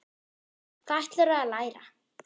Þóra: Hvað ætlarðu að læra?